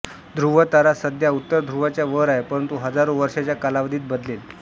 ध्रुव तारा सध्या उत्तर ध्रुवाच्या वर आहे परंतु हजारो वर्षांच्या कालावधीत बदलेल